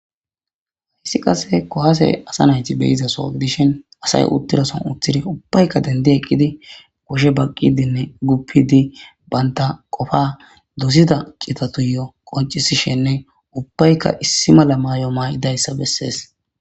Haysi qase kuwase be'izaso gidishin asay utizason ubbayka dendidi kushe baqidine gufidi banta qofa qoncisishene ubbayka issi mala mayo mayidaysa beses